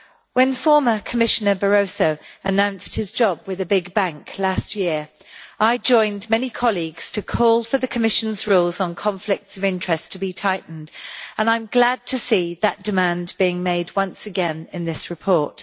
When former Commissioner Barroso announced his job with a big bank last year, I joined many colleagues to call for the Commission's rules on conflicts of interest to be tightened, and I am glad to see that demand being made once again in this report.